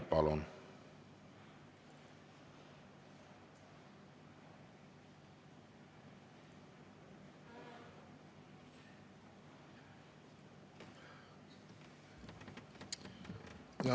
Palun!